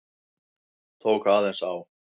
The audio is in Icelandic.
Tók aðeins á.